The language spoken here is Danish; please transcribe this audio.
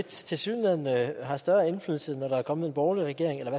tilsyneladende har større indflydelse når der er kommet en borgerlig regering eller i